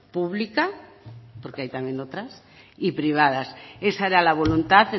pública porque hay también otras y privadas esa era la voluntad